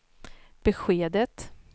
beskedet